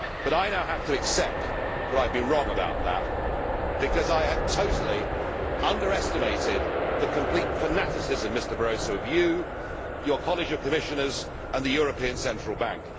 But I now have to accept that I have been wrong about that, because I had totally underestimated the complete fanaticism of you, Mr Barroso, your college of Commissioners, and the European Central Bank.